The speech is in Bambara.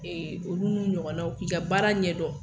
olu n'u ɲɔgɔnnaw k'i ka baara ɲɛ dɔn